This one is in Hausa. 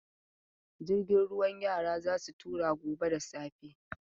Jirgin ruwa yara za su tura gobe da safe.